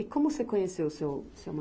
E como você conheceu o seu, seu